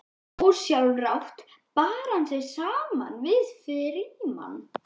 Ósjálfrátt bar hann sig saman við Frímann.